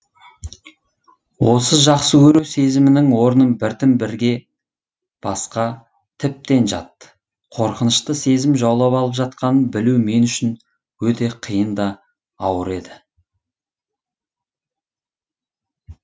осы жақсы көру сезімінің орнын біртін бірге басқа тіптен жат қорқынышты сезім жаулап алып жатқанын білу мен үшін өте қиын да ауыр еді